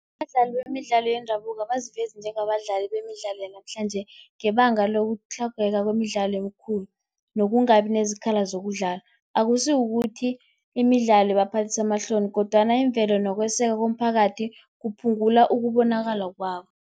Abadlali bemidlalo yendabuko abazivezi njengabadlali bemidlalo yanamhlanje, ngebanga lokutlhogeka kwemidlalo emikhulu nokungabi nezikhala zokudlala. Akusikukuthi imidlalo ibaphathisa amahloni kodwana imvelo nokweseka komphakathi kuphungula ukubonakala kwabo.